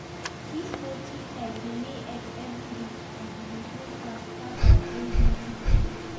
dis poultry type dey lay egg every day and e dey grow fast pass our old native breed.